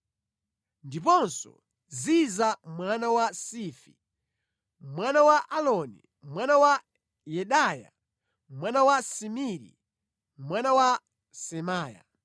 ndiponso Ziza mwana wa Sifi, mwana wa Aloni, mwana wa Yedaya, mwana wa Simiri, mwana wa Semaya.